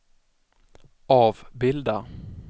avbilda